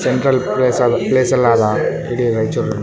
Central place ಅದ ಪ್ಲೇಸಲ್ಲದ ಇಡೀ ರೈಚೂರಲ್ಲಿ.